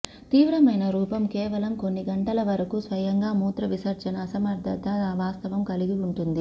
తీవ్రమైన రూపం కేవలం కొన్ని గంటల వరకు స్వయంగా మూత్రవిసర్జన అసమర్థత వాస్తవం కలిగి ఉంటుంది